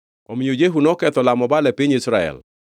Omiyo Jehu noketho lamo Baal e piny Israel.